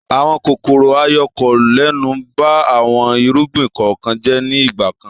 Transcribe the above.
Àwọn kòkòrò-ayọkolẹ́nu ba àwọn irúgbìn kọ̀ọ̀kan jẹ́ ní ìgbà kan.